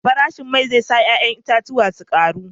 Farashin mai zai sa farashin 'ya'yan itatuwan su karu